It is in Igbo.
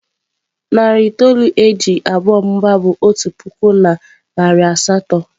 Narị itoolu e ji abụọ mụbaa bụ otu puku na narị asatọ.